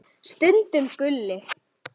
Stundum Gulli.